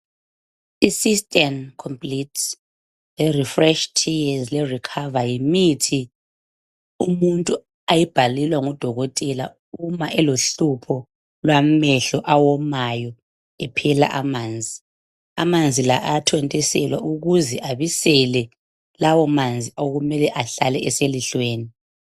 Systane complete lerefresh lerecover yimithi umuntu ayibhalelwa ngudokotela uma elohlupho lwamehlo awomayo, ephela emanzi. Lawamanzi ayathontiselwa ukuze abisele lawomanzi okumele ahlale eselihlweni.